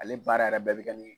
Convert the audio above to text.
Ale baara yɛrɛ bɛɛ bɛ kɛ ni